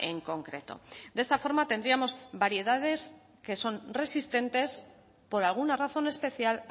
en concreto de esta forma tendríamos variedades que son resistentes por alguna razón especial